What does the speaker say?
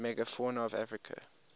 megafauna of africa